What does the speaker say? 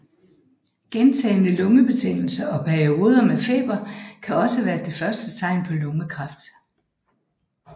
Gentagende lungebetændelser og perioder med feber kan også være det første tegn på lungekræft